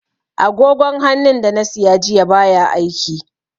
Agogon hannun da na siya jiya baya aiki.